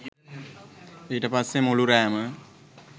ඊට පස්සේ මුළු රෑම